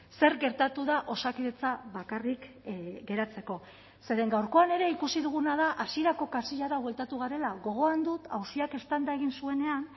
zer gertatu da osakidetza bakarrik geratzeko zeren gaurkoan ere ikusi duguna da hasierako kasillara bueltatu garela gogoan dut auziak eztanda egin zuenean